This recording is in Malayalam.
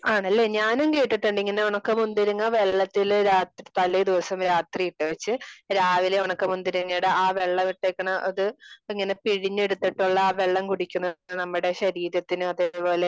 ആണല്ലെ ? ഞാനും കേട്ടിട്ടുണ്ട് ഇങ്ങനെ ഒണക്ക മുന്തിരിങ്ങ വെള്ളത്തില് തലേ ദിവസം രാത്രി ഇട്ടു വച്ച് രാവിലെ ഉണക്ക മുന്തിരിങ്ങയുടെ ആ വെള്ളം ഇട്ടുവയ്ക്കണ ഇത് ഇങ്ങനെ പിഴിഞ്ഞെടുത്തിട്ടുള്ള ആ വെള്ളം കുടിക്കുന്നത് നമ്മളുടെ ശരീരത്തിന് അതേ പോലെ